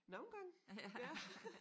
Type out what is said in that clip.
Nogle gange ja